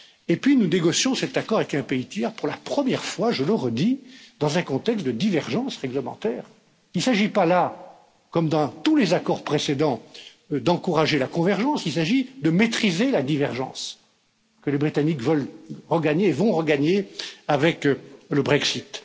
Et puis nous négocions cet accord avec un pays tiers pour la première fois, je le redis, dans un contexte de divergence réglementaire il ne s'agit pas là, comme dans tous les accords précédents, d'encourager la convergence, il s'agit de maîtriser la divergence que les Britanniques veulent regagner et vont regagner avec le Brexit.